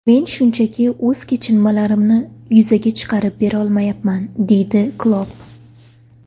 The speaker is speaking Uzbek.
Men shunchaki o‘z kechinmalarimni yuzaga chiqarib berolmayapman”, deydi Klopp.